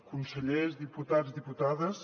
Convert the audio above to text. consellers diputats diputades